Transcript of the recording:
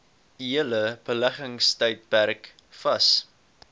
hele beleggingstydperk vas